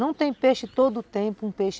Não tem peixe todo o tempo.